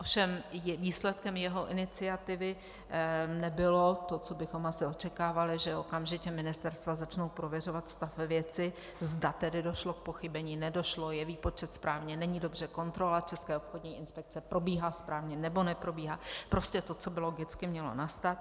Ovšem výsledkem jeho iniciativy nebylo to, co bychom asi očekávali, že okamžitě ministerstva začnou prověřovat stav ve věci, zda tedy došlo k pochybení, nedošlo, je výpočet správně, není dobře, kontrola České obchodní inspekce probíhá správně, nebo neprobíhá, prostě to, co by logicky mělo nastat.